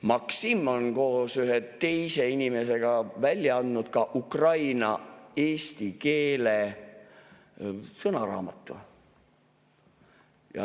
Maksim on koos ühe teise inimesega välja andnud ka ukraina-eesti keele sõnaraamatu.